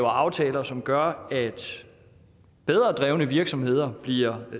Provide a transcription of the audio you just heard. aftaler som gør at bedre drevne virksomheder bliver